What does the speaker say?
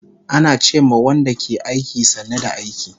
Ana ce ma Wanda ke aiki, sannu da aiki